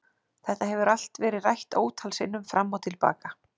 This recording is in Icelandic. Þetta hefur allt verið rætt ótal sinnum fram og til baka.